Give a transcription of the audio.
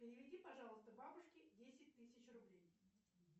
переведи пожалуйста бабушке десять тысяч рублей